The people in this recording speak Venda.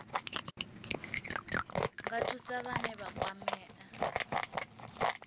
nga thusa vhane vha kwamea